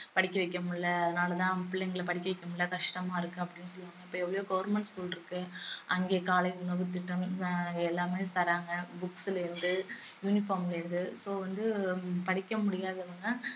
படிக்க வைக்க முடியல அதனால தான் பிள்ளைங்கள படிக்க வைக்க முடியல கஷ்டமா இருக்கு அப்படின்னு சொல்லுவாங்க அப்ப எவ்வளவோ government school இருக்கு அங்கயே காலை உணவுத் திட்டம் எல்லாமே தர்றாங்க books ல இருந்து uniform ல இருந்து so வந்து படிக்க முடியாதவங்க